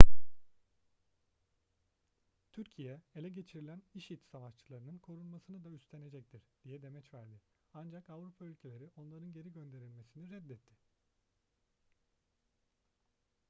türkiye ele geçirilen i̇şi̇d savaşçılarının korunmasını da üstenecektir diye demeç verdi ancak avrupa ülkeleri onların geri gönderilmesini reddetti